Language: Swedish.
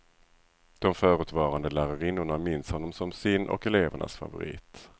De förutvarande lärarinnorna minns honom som sin och elevernas favorit.